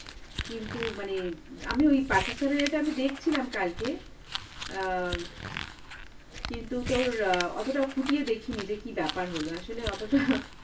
কিন্তু মানে আমি ওই Pakistan এর এটা আমি দেখছিলাম কালকে, অ্যাঁ, কিন্তু তোর অ্যাঁ অতটা খুটিয়ে দেখিনি, যে কি ব্যাপার হল, আসলে অতটা